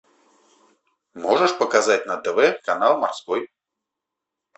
можешь показать на тв канал морской